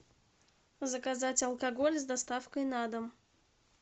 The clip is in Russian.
заказать алкоголь с доставкой на дом